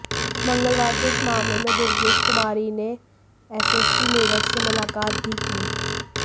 मंगलवार को इस मामले में दुर्गेश कुमारी ने एसएसपी मेरठ से मुलाकात भी की